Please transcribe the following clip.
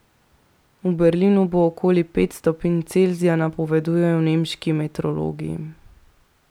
V Berlinu bo okoli pet stopinj Celzija, napovedujejo nemški meteorologi.